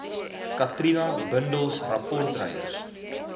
katrina bundels rapportryers